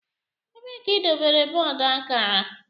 Ebee ka idobere bọọdụ akara?